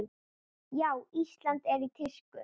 Já, Ísland er í tísku.